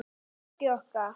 Hann Bjöggi okkar.